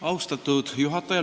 Austatud juhataja!